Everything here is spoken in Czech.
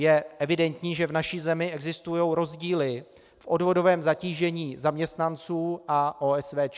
Je evidentní, že v naší zemi existují rozdíly v odvodovém zatížení zaměstnanců a OSVČ.